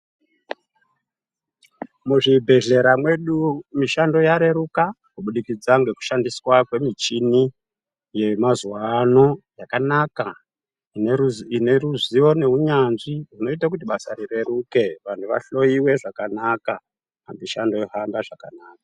Mu zvibhedhlera mwedu mishando ya reruka kubudikidza ngeku shandiswa kwe michini ye mazuva ano yakanaka ine ruzivo ne unyanzvi hunoita kuti basa ri reruke vanhu va hloyiwe zvakanaka mushando yo hamba zvakanaka.